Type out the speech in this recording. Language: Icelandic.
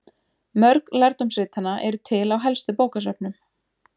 Mörg lærdómsritanna eru til á helstu bókasöfnum.